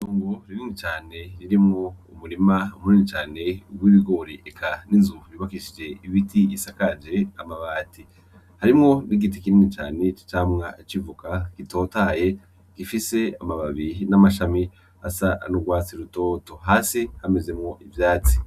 Itongo rinini cane ririmwo umurima minini cane w'ibigori eka n'inzu yubakishije ibiti isakaje amabati, harimwo n'igiti kinini cane c'amavoka gitotahaye gifise amababi n'amashami asa n'urwatsi rutoto, hasi hamezemwo ivyatsi.